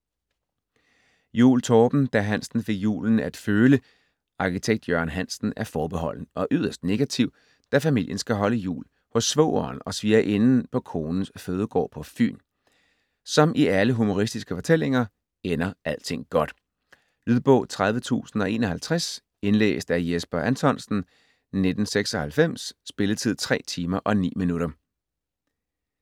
Juul, Torben: Da Hansen fik julen at føle Arkitekt Jørgen Hansen er forbeholden og yderst negativ, da familien skal holde jul hos svogeren og svigerinden på konens fødegård på Fyn. Som i alle humoristiske fortællinger ender alting godt. Lydbog 30051 Indlæst af Jesper Anthonsen, 1996. Spilletid: 3 timer, 9 minutter.